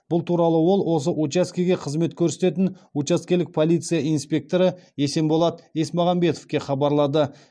бұл туралы ол осы учаскеге қызмет көрсететін учаскелік полиция инспекторы есенболат есмағамбетовке хабарлады